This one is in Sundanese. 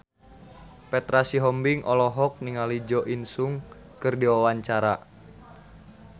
Petra Sihombing olohok ningali Jo In Sung keur diwawancara